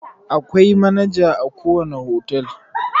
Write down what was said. Akwai manaja a ko wane otal.